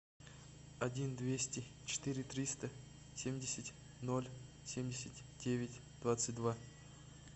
один двести четыре триста семьдесят ноль семьдесят девять двадцать два